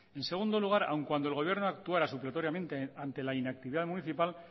en segundo lugar aun cuando el gobierno actuara supletoriamente ante la inactividad municipal